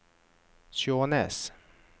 Skjånes